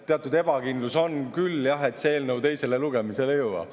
Teatud ebakindlus on küll, jah, et see eelnõu teisele lugemisele jõuab.